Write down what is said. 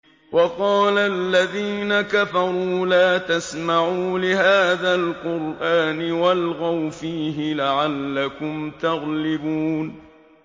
وَقَالَ الَّذِينَ كَفَرُوا لَا تَسْمَعُوا لِهَٰذَا الْقُرْآنِ وَالْغَوْا فِيهِ لَعَلَّكُمْ تَغْلِبُونَ